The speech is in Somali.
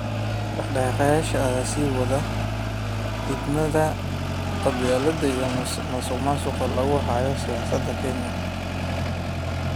Dhaqdhaqaaqayaasha ayaa sii waday diidmada qabyaaladda iyo musuqmaasuqa lagu hayo siyaasadda Kenya.